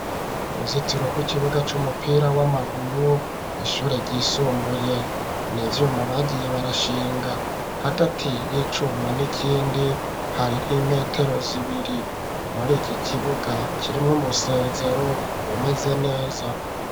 Uruzitiro rw'ikibuga cumupira w'amaguru ,kw' ishure ry'isumbuye nivyuma bagiye barashinga, hagati y'icuma n'ikindi hari nk'imetero zibiri muri iki kibuga, kirimwe umusezero umeze neza.